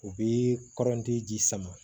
U bɛ kɔrɔnti ji sama